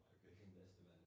Øjeblik